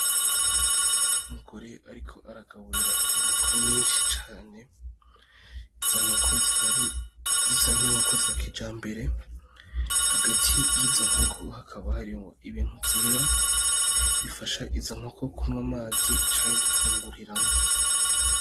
Umugore ariko aragaburira inkoko nyinshi cane, izo nkoko zikaba zisa nk'inkoko za kijambere, hagati yizo nkoko hakaba harimwo ibintu vyera, bifasha izo nkoko kunywa amazi canke gufunguriramwo.